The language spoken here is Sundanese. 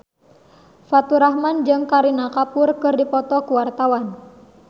Faturrahman jeung Kareena Kapoor keur dipoto ku wartawan